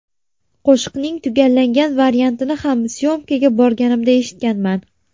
Qo‘shiqning tugallangan variantini ham s’yomkaga borganimda eshitganman.